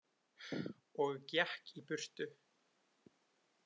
Og gekk í burtu.